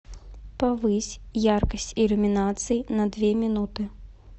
повысь яркость иллюминации на две минуты